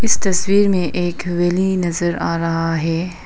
इस तस्वीर में एक वैली नजर आ रहा है।